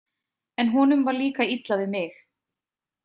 En honum var líka illa við mig.